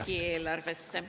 Aeg, kolleeg!